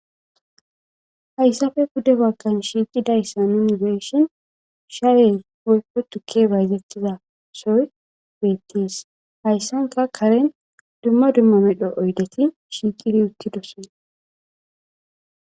Hayisape pude bagan nuni xelishini shaye woyiko tuke bayizetizays betes hayisani qa kareni duma duma medho oyideti kareni utidosona